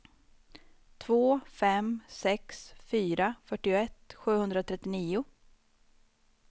två fem sex fyra fyrtioett sjuhundratrettionio